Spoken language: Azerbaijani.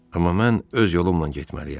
Amma mən öz yolumla getməliyəm.